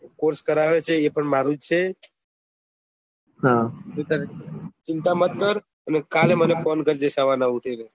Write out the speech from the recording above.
course કરાવે છે એ ભી મારું છે ચિંતા મત કર અને કાલે મને ફોન કરજે સવારના ઉઠી ને